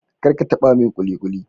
kar ka taba min kulikuli